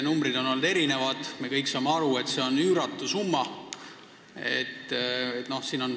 Numbreid on olnud erinevaid, aga me kõik saame aru, et see on üüratu summa.